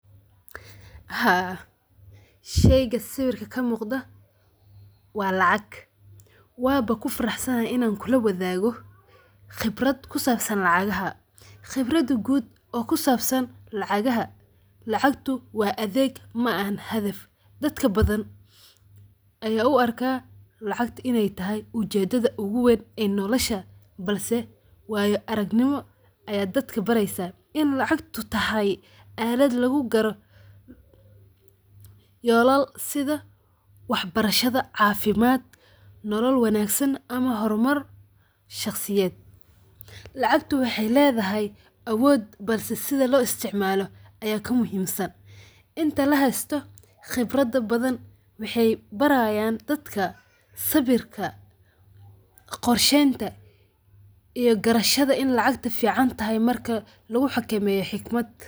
Haa sheeyga sawirka kamuqdah wa lacag, waba kufarxaanahay Ina kulawathagoh, qebarat kusabsan lacagaha, qebarda guud kusabsan lacagaha lacgato wa atheeg maahn hathaf, dadka bathan Aya u arkah lacag inaytahay mudada ugu weyn nolosha balse wayo aragnimo Aya dadaka bareysah ini lacagto tahay alat lagu kaloh yolala setha waxbarashada cafimdkaa nolo wanagsan amah hormar shaqsiyet lacgato waxay leethahay awood balse sethi lo isticmaloh Aya ka muhimsan inti lahaysatoh qebarada bathan maxay barayan dad sawirka qorsheynta iyo karashada ini lacga ta ficantahay marka lagu xagemeyoh xegmat .